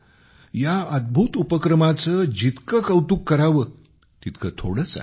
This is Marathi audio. या अद्भुत उपक्रमाचे जितके कौतुक करावे तितके थोडेच आहे